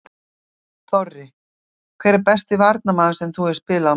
Þorri: Hver er besti varnarmaður sem þú hefur spilað á móti?